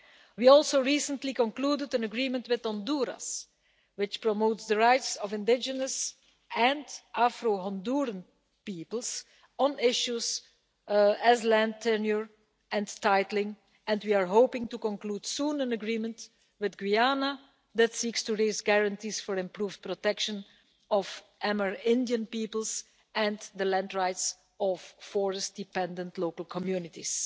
We also recently concluded an agreement with Honduras which promotes the rights of indigenous and Afro Honduran peoples on issues such as land tenure and titling, and we are hoping to conclude soon an agreement with Guyana that seeks to raise guarantees for improved protection of Amerindian peoples and the land rights of forest dependent local communities.